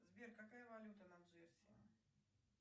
сбер какая валюта на джерси